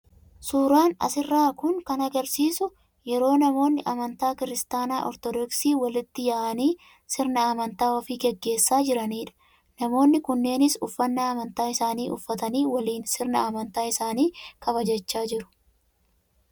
Suuraan as irraa kun kan agarsiisu yeroo namoonni amantaa Kiristaanaa Ortodoksii walitti yaa'anii sirna amantaa ofii geggeessaa jiranii dha. Namoonni kunneenis uffannaa amantaa isaanii uffatanii waliin sirna amantaa isaanii kabajachaa jiru.